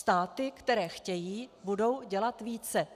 Státy, které chtějí, budou dělat více.